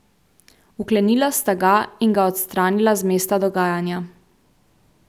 Vklenila sta ga in ga odstranila z mesta dogajanja.